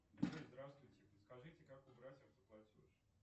здравствуйте подскажите как убрать автоплатеж